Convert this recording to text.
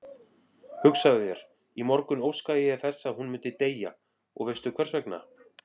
Hugsaðu þér, í morgun óskaði ég þess að hún myndi deyja og veistu hversvegna?